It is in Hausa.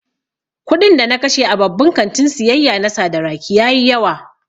Kuɗin da na kashe a babban kantin siyayya na Sadaraki ya yi yawa